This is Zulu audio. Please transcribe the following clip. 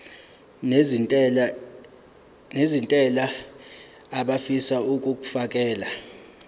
nezentela abafisa uukfakela